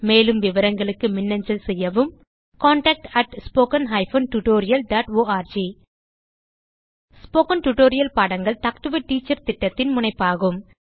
மேலும் விவரங்களுக்கு மின்னஞ்சல் செய்யவும் contactspoken tutorialorg ஸ்போகன் டுடோரியல் பாடங்கள் டாக் டு எ டீச்சர் திட்டத்தின் முனைப்பாகும்